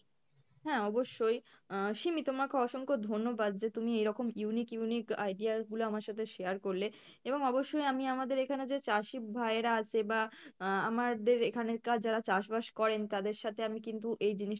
হ্যাঁ অবশ্যই আহ সিমি তোমাকে অসংখ্য ধন্যবাদ যে তুমি এইরকম unique unique idea গুলো আমার সাথে share করলে এবং অবশ্যই আমি আমাদের এখানে যে চাষী ভাইয়েরা আছে বা আহ আমাদের এখানকার যারা চাষ বাস করেন তাদের সাথে আমি কিন্তু এই জিনিস